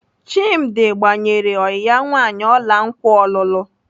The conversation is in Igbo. Chimdi gbanyere ọyị ya nwaanyị ọla nkwa ọlụlụ.